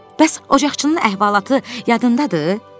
Bəs ocaqçının əhvalatı yadındadır?